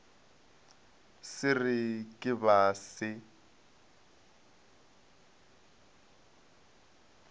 se re ke ba se